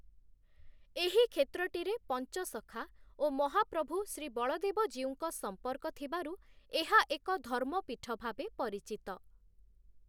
ଏହି କ୍ଷେତ୍ରଟିରେ ପଞ୍ଚସଖା ଓ ମହାପ୍ରଭୁ ଶ୍ରୀବଳଦେବଜୀଉଙ୍କ ସମ୍ପର୍କ ଥିବାରୁ ଏହା ଏକ ଧର୍ମପୀଠ ଭାବେ ପରିଚିତ ।